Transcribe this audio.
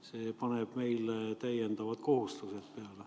See paneb meile täiendavad kohustused peale.